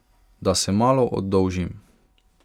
Da se malo oddolžim.